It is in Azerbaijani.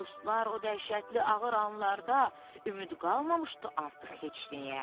Dostlar, o dəhşətli ağır anlarda ümid qalmamışdı artıq heç nəyə.